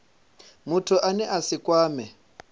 muthu ane a si kwamee